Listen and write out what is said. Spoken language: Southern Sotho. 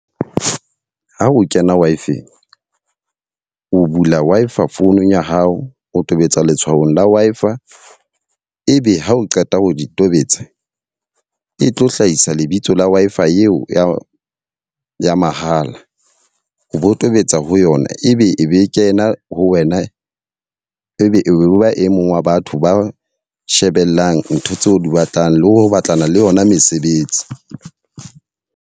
Ha o kena Wi-Fi-ng, o bula Wi-Fi phone ya hao. O tobetsa letshwao la Wi-Fi, e be ha o qeta ho di tobetsa. E tlo hlahisa lebitso la Wi-Fi eo ya ya mahala. O bo tobetsa ho yona ebe e be e kena ho wena. E be e be ba e mong wa batho ba shebellang ntho tseo di batlang le ho batlana le yona mesebetsi.